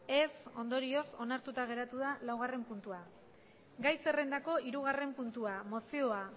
ez ondorioz onartuta geratu da lau puntua gai zerrendako hirugarren puntua mozioa